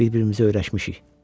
Bir-birimizə öyrəşmişik.